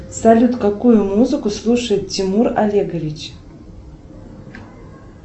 салют какую музыку слушает тимур олегович